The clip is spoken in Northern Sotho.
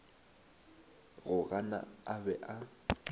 go gana a be a